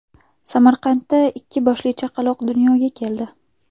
Samarqandda ikki boshli chaqaloq dunyoga keldi.